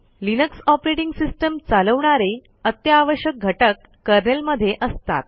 Linux operating system चालवणारे अत्यावश्यक घटक कर्नेल मधे असतात